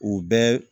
U bɛɛ